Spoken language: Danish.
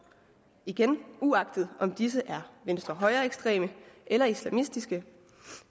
igen uagtet om disse er venstrehøjreekstreme eller islamistiske